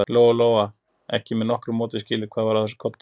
Lóa-Lóa gat ekki með nokkru móti skilið hvað var að þessum kodda.